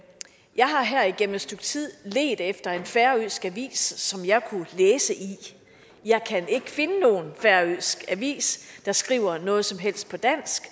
jeg har her igennem et stykke tid ledt efter en færøsk avis som jeg kunne læse i jeg kan ikke finde nogen færøsk avis der skriver noget som helst på dansk